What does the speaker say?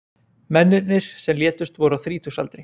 Mennirnir sem létust voru á þrítugsaldri